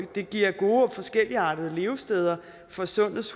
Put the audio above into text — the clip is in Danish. det giver gode og forskelligartede levesteder for sundets